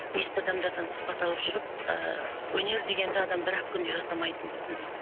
есті адамдардан сұхбат алып жүріп ыыы өнер дегенді адам бір ақ күнде жасамайтынын түсіндім